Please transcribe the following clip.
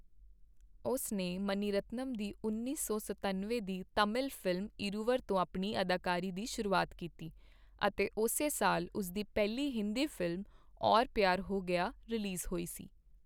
ਉਸ ਨੇ ਮਣੀ ਰਤਨਮ ਦੀ ਉੱਨੀ ਸੋ ਸਤੱਨਵੇਂ ਦੀ ਤਾਮਿਲ ਫ਼ਿਲਮ ਇਰੂਵਰ ਤੋਂ ਆਪਣੀ ਅਦਾਕਾਰੀ ਦੀ ਸ਼ੁਰੂਆਤ ਕੀਤੀ ਅਤੇ ਉਸੇ ਸਾਲ ਉਸ ਦੀ ਪਹਿਲੀ ਹਿੰਦੀ ਫ਼ਿਲਮ ਔਰ ਪਿਆਰ ਹੋ ਗਯਾ ਵਿੱਚ ਰਿਲੀਜ਼ ਹੋਈ ਸੀ।